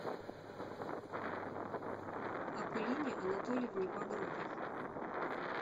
акулине анатольевне багровой